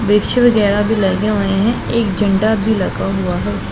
विश्व वगैरा भी लगे हुए हैं एक झंडा भी लगा हुआ है।